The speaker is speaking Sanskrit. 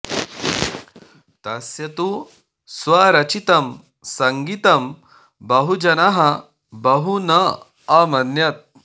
तस्य तु स्वरचितं सङ्गीतं बहुजनः बहु न अमन्यत